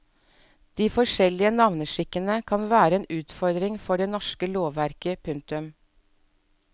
De forskjellige navneskikkene kan være en utfordring for det norske lovverket. punktum